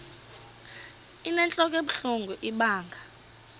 inentlok ebuhlungu ibanga